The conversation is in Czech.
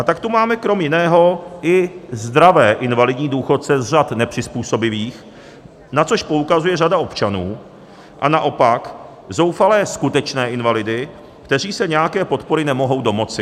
A tak tu máme krom jiného i zdravé invalidní důchodce z řad nepřizpůsobivých, na což poukazuje řada občanů, a naopak zoufalé skutečné invalidy, kteří se nějaké podpory nemohou domoci.